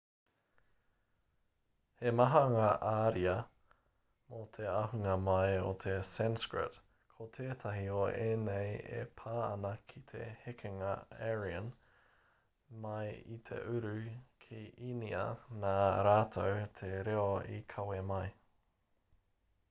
he maha ngā ariā mō te ahunga mai o te sanskrit ko tētahi o ēnei e pā ana ki te hekenga aryan mai i te uru ki īnia nā rātou te reo i kawe mai